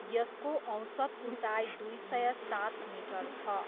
यसको औसत उचाइ दुई सय सात मिटर छ।